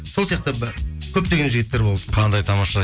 сол сияқты көптеген жігіттер болды қандай тамаша